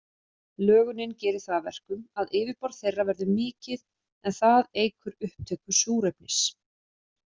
Lögunin gerir það að verkum að yfirborð þeirra verður mikið, en það eykur upptöku súrefnis.